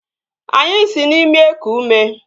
Anyị si n'imi eku ume